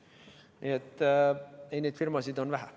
Nii et neid firmasid on vähe.